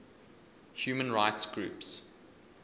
human rights groups